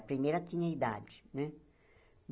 A primeira tinha idade, né?